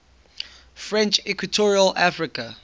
french equatorial africa